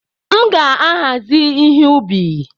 M ga-ahazi ihe ubi